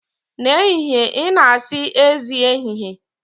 N'ehihie ị na-asị, Ezi ehihie.